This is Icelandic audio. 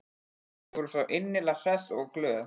Þau voru svo innilega hress og glöð.